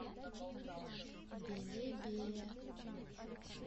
белебея